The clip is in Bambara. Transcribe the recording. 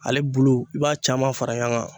Ale bulu i b'a caman fara ɲɔgɔn kan.